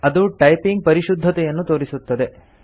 ಅದು ಟೈಪಿಂಗ್ ಪರಿಶುದ್ಧತೆಯನ್ನು ತೋರಿಸುತ್ತದೆ